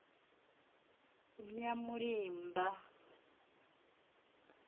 nyamulimba